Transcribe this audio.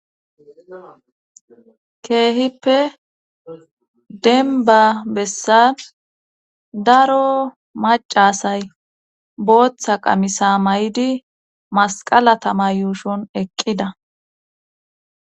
keehippe denba bessan daro macasay booththa qamisa may7idi masqala tama yuushon eqqida